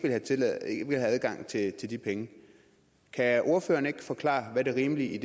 vil have adgang til de penge kan ordføreren ikke forklare hvad det rimelige